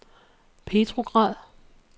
Petrograd